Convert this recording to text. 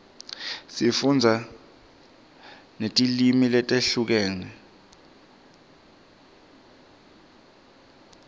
sifundza netilwimi letehlukene